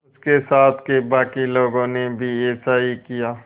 उसके साथ के बाकी लोगों ने भी ऐसा ही किया